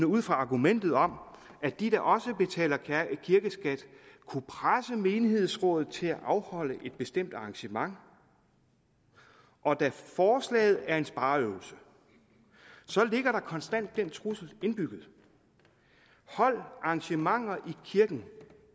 ud fra argumentet om at de da også betaler kirkeskat kunne presse menighedsrådet til at afholde et bestemt arrangement og da forslaget er en spareøvelse ligger der konstant den trussel indbygget hold arrangementer i kirken